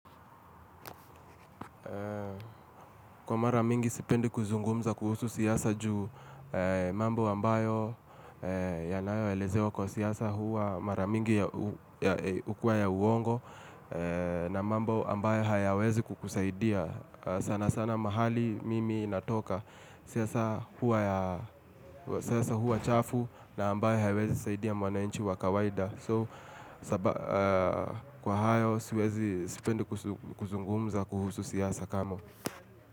Kwa maramingi sipendi kuzungumza kuhusu siyasa juu mambo ambayo yanayo elezewo kwa siyasa huwa maramingi hukua ya uongo na mambo ambayo hayawezi kukusaidia sana sana mahali mimi natoka siyasa huwa chafu na ambayo hayawezi saidia mwanainchi wa kawaida. So kwa hayo siwezi spendi kuzungumza kuhusu siyasa kamo.